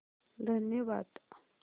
धन्यवाद